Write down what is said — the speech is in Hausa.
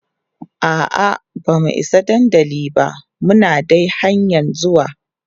a'a bamu Isa dandali ba Muna dai hanƴan zuwa